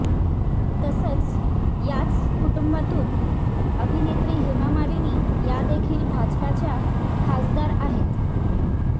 तसंच याच कुटुंबातून अभिनेत्री हेमा मालिनी यादेखील भाजच्या खासदार आहेत